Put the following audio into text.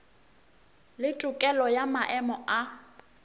le tokelo ya maemo a